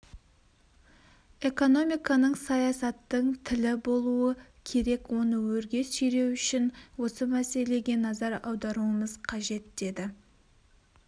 экономиканың саясаттың тілі болуы керек оны өрге сүйреу үшін осы мәселеге назар аударуымыз қажет деді